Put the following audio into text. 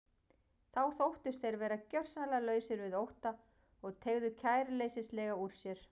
Þá þóttust þeir vera gjörsamlega lausir við ótta og teygðu kæruleysislega úr sér.